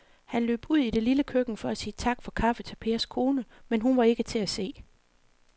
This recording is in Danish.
Han løb ud i det lille køkken for at sige tak for kaffe til Pers kone, men hun var ikke til at se.